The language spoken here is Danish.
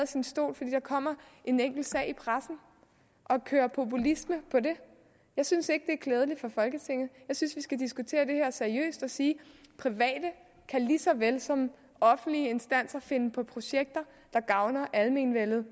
sin stol fordi der kommer en enkelt sag i pressen og køre populisme på det jeg synes ikke er klædeligt for folketinget jeg synes vi skal diskutere det her seriøst og sige private kan lige så vel som offentlige instanser finde på projekter der gavner almenvellet